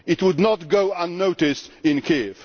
This would not go unnoticed in Kiev.